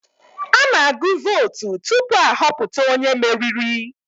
A na-agụ vootu tupu ahọpụta onye meriri.